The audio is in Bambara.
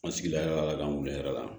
An sigila ala k'an wuli yɛrɛ la